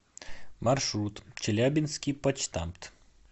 маршрут челябинский почтамт